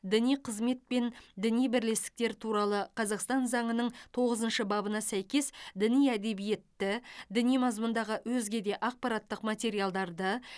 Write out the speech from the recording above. діни қызмет пен діни бірлестіктер туралы қазақстан заңының тоғызыншы бабына сәйкес діни әдебиетті діни мазмұндағы өзге де ақпараттық материалдарды